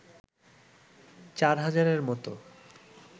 ৪ হাজারের মতো